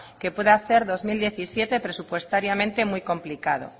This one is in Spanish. que puede hacer dos mil diecisiete presupuestariamente muy complicado